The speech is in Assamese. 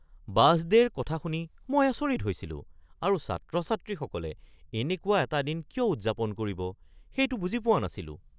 বাছ ডে'ৰ কথা শুনি মই আচৰিত হৈছিলোঁ আৰু ছাত্ৰ-ছাত্ৰীসকলে এনেকুৱা এটা দিন কিয় উদযাপন কৰিব সেইটো বুজি পোৱা নাছিলোঁ।